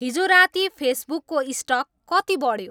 हिजो राति फेसबुकको स्टक कति बढ्यो